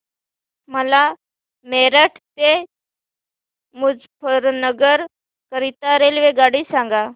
मला मेरठ ते मुजफ्फरनगर करीता रेल्वेगाडी सांगा